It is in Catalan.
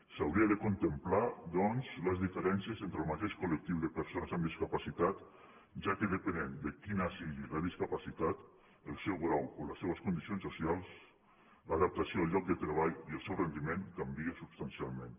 s’haurien de contemplar doncs les diferències entre el mateix col·lectiu de persones amb discapacitat ja que depenent de quina sigui la discapacitat el seu grau o les seves condicions social l’adaptació al lloc de treball i el seu rendiment canvia substancialment